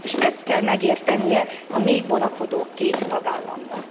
És ezt kell megértenie a még vonakodó két tagállamnak.